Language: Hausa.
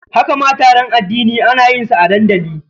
Haka ma taron addini ana iya yin sa a dandali.